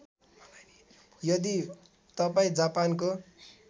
यदि तपाईँ जापानको